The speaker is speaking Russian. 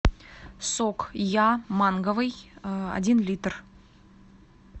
сок я манговый один литр